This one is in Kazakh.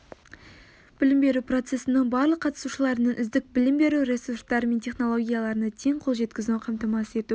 білім беру процесінің барлық қатысушыларының үздік білім беру ресурстары мен технологияларына тең қол жеткізуін қамтамасыз ету